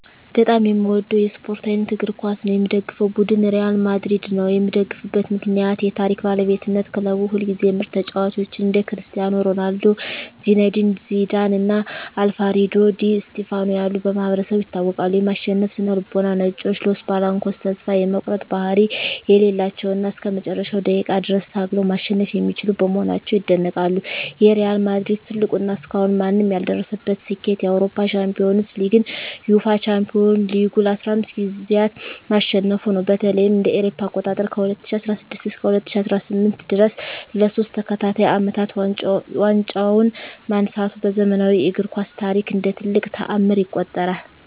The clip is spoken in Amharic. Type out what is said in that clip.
በጣም የምወደው የስፓርት አይነት እግር ኳስ ነው። የምደግፈው ቡድን ሪያል ማድሪድ ነው። የምደግፍበት ምክንያት ዠ የታሪክ ባለቤትነት ክለቡ ሁልጊዜም ምርጥ ተጫዋቾችን (እንደ ክርስቲያኖ ሮናልዶ፣ ዚነዲን ዚዳን እና አልፍሬዶ ዲ ስቲፋኖ ያሉ) በማሰባሰብ ይታወቃል። የማሸነፍ ስነ-ልቦና "ነጮቹ" (Los Blancos) ተስፋ የመቁረጥ ባህሪ የሌላቸው እና እስከ መጨረሻው ደቂቃ ድረስ ታግለው ማሸነፍ የሚችሉ በመሆናቸው ይደነቃሉ። የሪያል ማድሪድ ትልቁ እና እስካሁን ማንም ያልደረሰበት ስኬት የአውሮፓ ሻምፒዮንስ ሊግን (UEFA Champions League) ለ15 ጊዜያት ማሸነፉ ነው። በተለይም እ.ኤ.አ. ከ2016 እስከ 2018 ድረስ ለሶስት ተከታታይ አመታት ዋንጫውን ማንሳቱ በዘመናዊው እግር ኳስ ታሪክ እንደ ትልቅ ተአምር ይቆጠራል።